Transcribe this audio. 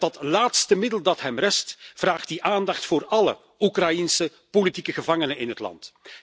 Met dat laatste middel dat hem rest vraagt hij aandacht voor alle Oekraïense politieke gevangenen in het land.